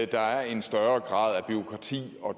der er en større grad af bureaukrati